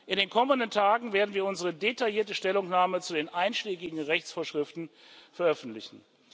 In den kommenden Tagen werden wir unsere detaillierte Stellungnahme zu den einschlägigen Rechtsvorschriften veröffentlichen.